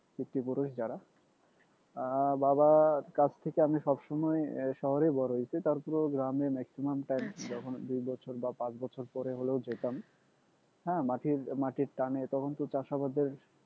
পিতৃপুরুষ যারা আহ বাবা কাছ থেকে আমি সব সময় শহরেই বড় হয়েছি তারপরেও গ্রামে maximum time যখন দুই বছর বা পাঁচ বছর পরে হলেও যেতাম হ্যাঁ মাটির মাটির টানে তখন তো চাষাবাদের